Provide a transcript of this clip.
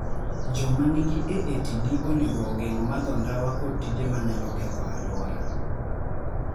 Joma nigi AATD onego ogeng� madho ndawa kod tije ma nyalo ketho alwora.